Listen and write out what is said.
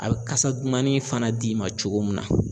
A be kasa dumannin fana d'i ma cogo min na